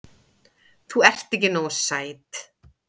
Þú ert ekki nógu sæt.